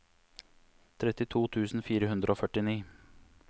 trettito tusen fire hundre og førtini